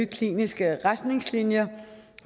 kliniske retningslinjer